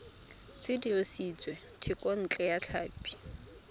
se dirisitswe thekontle ya tlhapi